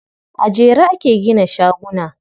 A jere ake gina shaguna.